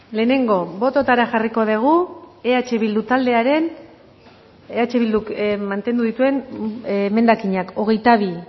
lehenengo bototara jarriko dugu eh bildu taldearen eh bilduk mantendu dituen emendakinak hogeita bi